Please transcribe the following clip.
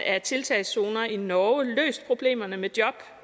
af tiltagszoner i norge løst problemerne med job